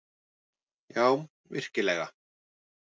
Já, virkilega.